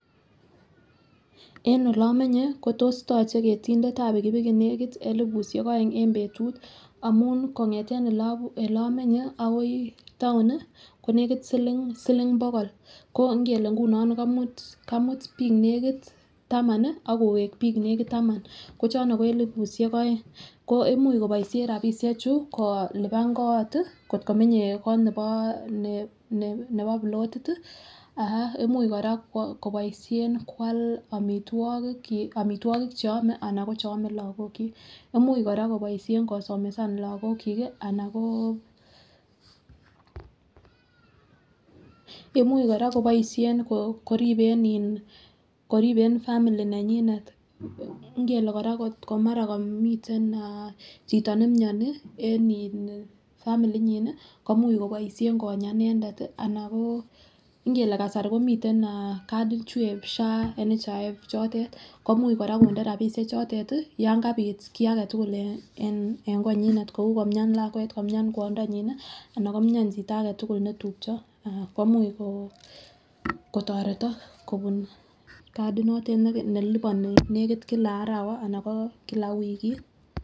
En oleimenye ko tos toche ketindetab pikipiki nekit elibushek oeng en betut amun kongeten oleimenye akoi town nii ko nekit siling bokol ko ngele nguno kamut bik nekit taman nii ak kowek bik nekit taman ko chono ko nekit elibushek oeng. Ko imuch koboishen rabishek chuu kolipani kot tii kotko menye kot ne nebo nebo pilotit tii ah imuch koraa koboishen kwam omitwoki kyik omitwokik cheome anan ko cheome lokok chik. Imuch koraa koboishen kosomesa loko chik kii ana ko, imuch koraa koboishen koriben family nenyinet ngele Koraa komara komiten ah chito nemioni en in family nyin nii koimuch koboishen Konya inendet ana ko ingele kasari komiten eh katit chuu en SHA, NHIF chotet komuch Koraa konde rabishek chotet tii siyon kabit kii agetuku en konyunet kou komia lakwet komian kwondanyin nii ana komia chito agetukul netupcho komuch kotoretok kobun katik notet neliponi nekit kila arawa ana ko kila wikit.